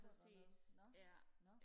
præcis ja